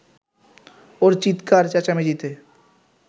ওর চিৎকার-চেঁচামেচিতে